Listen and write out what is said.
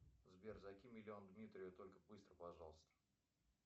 сбер закинь миллион дмитрию только быстро пожалуйста